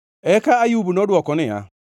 Eka Ayub nodwoko niya: